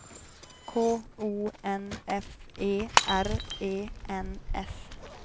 K O N F E R E N S